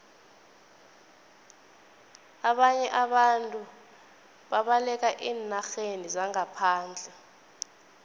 ababnye abantu babalekela eenarheni zangaphandle